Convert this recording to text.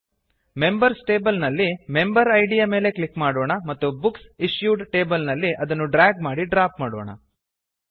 members table ನಲ್ಲಿ member ಇದ್ ಯ ಮೇಲೆ ಕ್ಲಿಕ್ ಮಾಡೋಣ ಮತ್ತು ಬುಕ್ಸ್ ಇಶ್ಯೂಡ್ ಟೇಬಲ್ ನಲ್ಲಿ ಅದನ್ನುಡ್ರ್ಯಾಗ್ ಮಾಡಿ ಡ್ರಾಪ್ ಮಾಡೋಣ